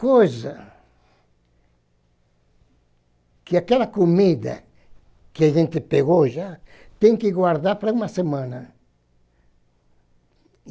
Coisa que aquela comida que a gente pegou já tem que guardar para uma semana.